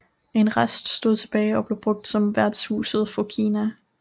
En rest stod tilbage og blev brugt som værtshuset Fokina